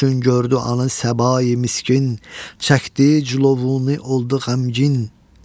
Çün gördü anı Səbai miskin, çəkdi cülovunu oldu qəmgin.